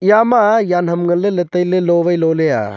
yama yan ham nganley ley tailey lo vai lo ley ah.